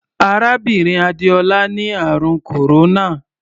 Arábìnrin Adéọlá ni àrùn kòróná.